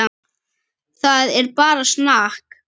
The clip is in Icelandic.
Það er bara snakk.